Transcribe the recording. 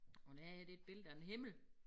Og det her det et billede af en himmel